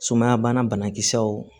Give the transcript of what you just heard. Sumaya banakisɛw